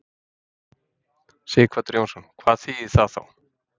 Sighvatur Jónsson: Hvað þýðir það þá?